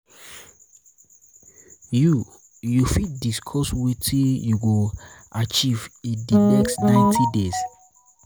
you um you um fit discuss wetin you go achieve in di next 90 days? um